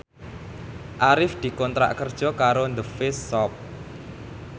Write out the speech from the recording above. Arif dikontrak kerja karo The Face Shop